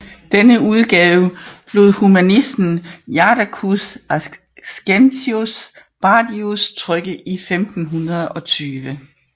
Denne udgave lod humanisten Jadocus Ascensius Badius trykke i 1520